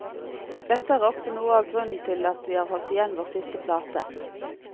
Dette er også noe av grunnen til at vi har holdt igjen vår siste plate.